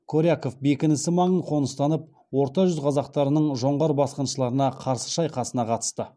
коряков бекінісі маңын қоныстанып орта жүз қазақтарының жоңғар басқыншыларына қарсы шайқасына қатысты